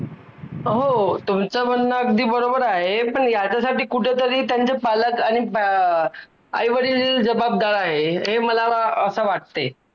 प्राण्यांसाठी ही घातक तसेच माणसांसाठी ही घातक आहे.